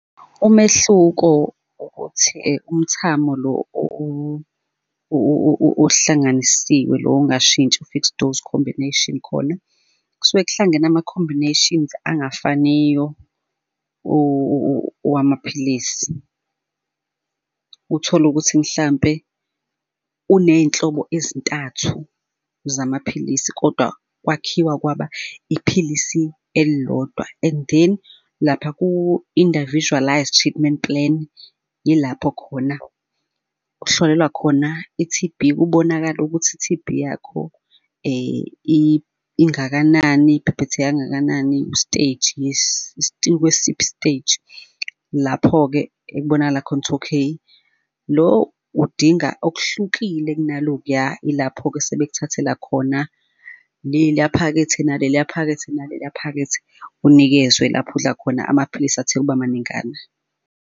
Umehluko ukuthi umthamo lo ohlanganisiwe lo ongashintshi i-fixed dose combination khona, kusuke k'hlangene ama-combinations angafaniyo owamaphilisi. Uthole ukuthi mhlampe uney'nhlobo ezintathu zamaphilisi, kodwa kwakhiwa kwaba iphilisi elilodwa. And then lapha ku-individualised treatment plan, yilapho khona kuhlolelwa khona i-T_B, kubonakale ukuthi i-T_B yakho ingakanani, ibhebhetheke kangakanani u-stage ikwesiphi i-stage lapho-ke ekubonakala khona ukuthi, okay, lo udinga okuhlukile kunalokuya, ilapho-ke sebekuthathela khona leliya phakethe, naleliya phakethe, naleliya phakethe, unikezwe lapho udla khona amaphilisi athe ukuba maningana.